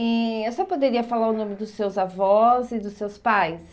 E a senhora poderia falar o nome dos seus avós e dos seus pais?